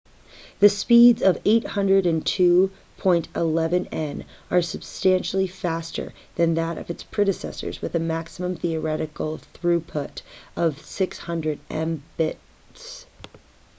the speeds of 802.11n are substantially faster than that of its predecessors with a maximum theoretical throughput of 600mbit/s